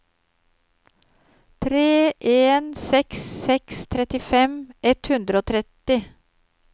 tre en seks seks trettifem ett hundre og tretti